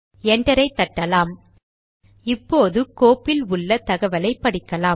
என்டரை தட்டலாம் இப்போது கோப்பில் உள்ள தகவலை படிக்கலாம்